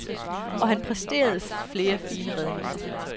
Og han præsterede flere fine redninger.